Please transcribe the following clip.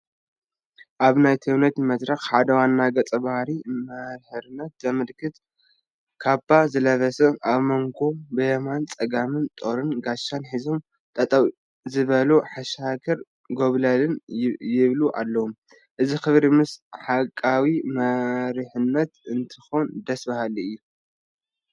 ኣብ ናይ ተውኔት መድረክ ሓደ ዋና ገፀ ባህርይ መሪሕነት ዘመልክት ካባ ዝለበሰ ኣብ መንጐ ብየማነ ፀጋሙ ጦርን ጋሻን ሒዞም ጠጠው ዝበሉ ሓሻኽር ጐብለለል ይብል ኣሎ፡፡ እዚ ክብሪ ምስ ሓቃዊ መሪሕነት እንትኾን ደስ በሃሊ እዩ፡፡